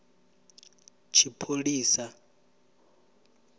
tshipholisa